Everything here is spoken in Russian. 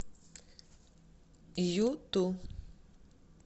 юту